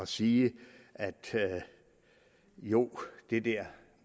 sige at jo det der